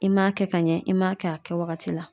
I ma kɛ ka ɲɛ, i ma kɛ a kɛ wagati la.